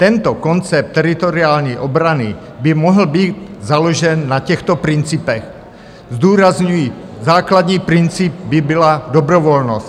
Tento koncept teritoriální obrany by mohl být založen na těchto principech - zdůrazňuji, základní princip by byla dobrovolnost.